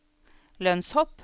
lønnshopp